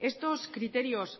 estos criterios